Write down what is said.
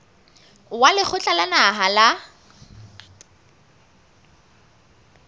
wa lekgotla la naha la